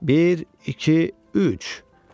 Bir, iki, üç.